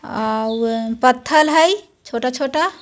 Noise अ व् ह पत्थल हाय छोटा छोटा।